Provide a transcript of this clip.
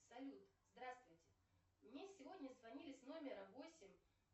салют здравствуйте мне сегодня звонили с номера восемь